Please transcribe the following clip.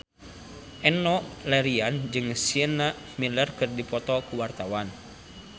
Enno Lerian jeung Sienna Miller keur dipoto ku wartawan